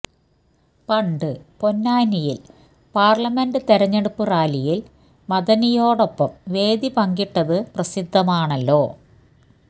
പണ്ട് പൊന്നാനിയില് പാര്ലമെന്റ് തിരഞ്ഞെടുപ്പ് റാലിയില് മദനിയോടൊപ്പം വേദി പങ്കിട്ടത് പ്രസിദ്ധമാണല്ലോ